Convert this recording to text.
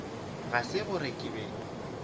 ga se gore ke be